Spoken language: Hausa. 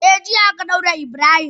Eh, jiya aka daure Ibrahim.